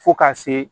Fo ka se